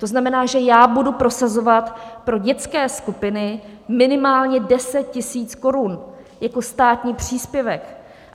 To znamená, že já budu prosazovat pro dětské skupiny minimálně 10 000 korun jako státní příspěvek.